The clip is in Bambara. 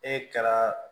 E kɛra